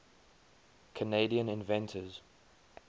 canadian inventors